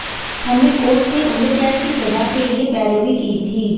हमने कोर्ट से उम्रकैद की सजा के लिए पैरवी की थी